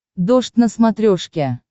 дождь на смотрешке